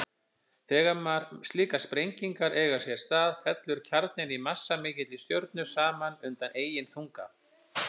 Þegar slíkar sprengingar eiga sér stað fellur kjarninn í massamikilli stjörnu saman undan eigin þunga.